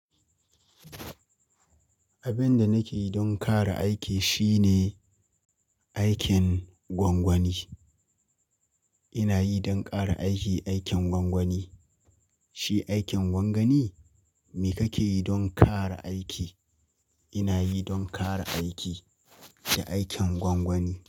Abin da nake yi don ƙara aiki shine aikin gwangwani. Ina yi don ƙara aiki, aikin gwangwani. Shi aikin gwagwani? Me kake yi don ƙara aiki? Ina yi don ƙara aiki, shi aikin gwangwani.